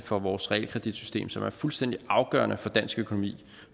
for vores realkreditsystem som er fuldstændig afgørende for dansk økonomi